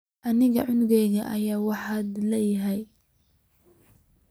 Aniga cunugan aya wax oodhil ii eeh.